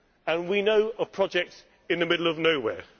And we know of projects in the middle of nowhere.